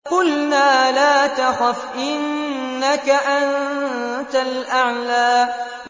قُلْنَا لَا تَخَفْ إِنَّكَ أَنتَ الْأَعْلَىٰ